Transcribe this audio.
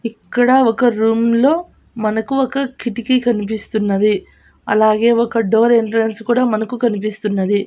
ఇక్కడ ఒక రూమ్ లో మనకు ఒక కిటికీ కనిపిస్తున్నది అలాగే ఒక డోర్ ఎంట్రెన్స్ కూడా మనకు కనిపిస్తున్నది.